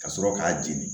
Ka sɔrɔ k'a jeni